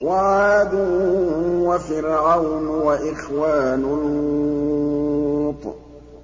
وَعَادٌ وَفِرْعَوْنُ وَإِخْوَانُ لُوطٍ